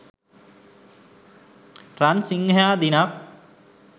රන් සිංහයා දිනක්